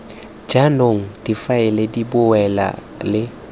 jaanong difaele di bewa le